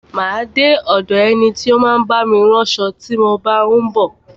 Má a de ọ̀do ẹni tí ó ń bá mi ránṣo tí mo bá ń bọ̀.